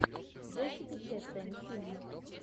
джессика честейн фильм